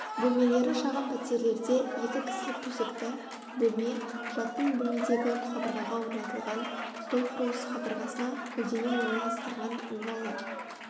бөлмелері шағын пәтерлерде екі кісілік төсекті бөлме жатын бөлмедегі қабырғаға орнатылған стол құрылысы қабырғасына көлденең орналастырған ыңғайлы